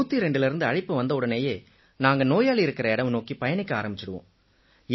102லிருந்து அழைப்பு வந்தவுடனேயே நாங்க நோயாளி இருக்கற இடம் நோக்கிப் பயணிக்க ஆரம்பிச்சிருவோம்